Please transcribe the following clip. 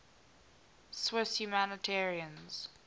swiss humanitarians